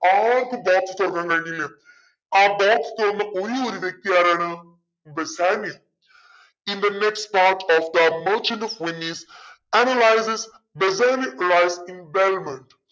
ആർക്കും box തുറക്കാൻ കഴിഞ്ഞില്ല. ആ box തുറന്ന ഒരേയൊരു വ്യക്തി ആരാണ് Bassanio in the next part of the merchant of Venice analyses Bassanio life in